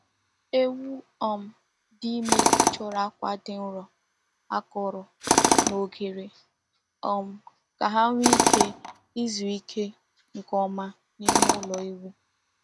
Ewu um di ime chọrọ akwa dị nro, akọrọ, na oghere um ka ha nwee ike izu ike nke ọma n’ime ụlọ ewu.